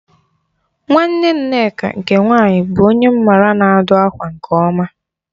Nwanne Nneka nke nwaanyị bụ onye m ma na-adụ ákwà nke ọma